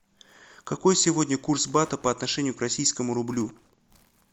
какой сегодня курс бата по отношению к российскому рублю